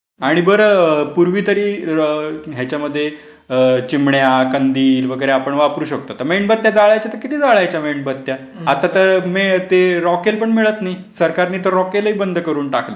आणि बरं पूर्वी तरी याच्यामध्ये चिमण्या कंदील वगैरे आपण वापरू शकतो. मेणबत्त्या जाळ्याच्या तर किती जाळ्याच्या मेणबत्त्या. आता तर ते रॉकेल पण मिळत नाही. सरकारनी तर रॉकेल ही बंद करून टाकलंय.